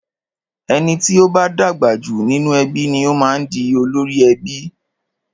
Ẹni tí o bá dàgbà jù nínú ẹbí ni o máa ń di olórí ẹbí.